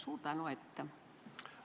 Suur tänu ette!